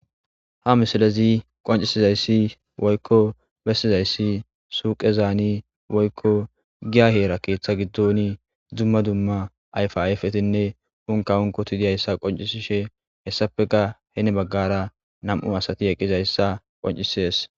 Ha misilezii qonccisizayssi woykko besttizayssi suyiqqezan woykko giya heera keethttha giddoni dumma dumma ayfa ayfetinne unkka unkkotii dizayssa qoncisishe heessappekka heni baggara nam"u asati dizayssa qoncisishes